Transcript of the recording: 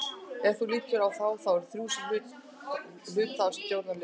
Ert þú, líturðu á þá, þau þrjú sem hluta af stjórnarliðinu?